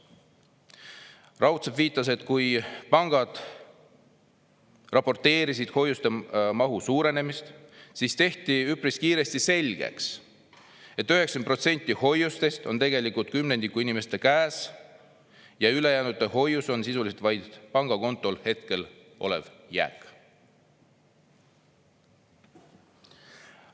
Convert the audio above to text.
viitas, et kui pangad raporteerisid hoiuste mahu suurenemisest, siis tehti üpris kiiresti selgeks, et 90 protsenti hoiustest on tegelikult kümnendiku inimestest käes ja ülejäänute "hoius" on sisuliselt vaid pangakontol hetkel olev jääk."